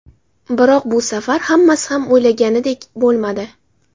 Biroq bu safar hammasi ham o‘ylanganidek bo‘lmadi.